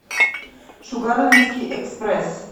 шугарлендский экспресс